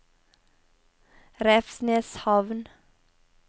Revsneshamn